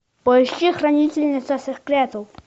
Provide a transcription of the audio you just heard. поищи хранительница секретов